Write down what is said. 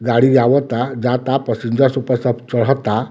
गाड़ी आवता जाता पैसेंजर से ऊपर सब चढ़ता।